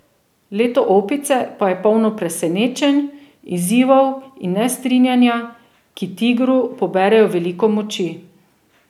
Leto Opice pa je polno presenečenj, izzivov in nestrinjanja, ki tigru poberejo veliko moči.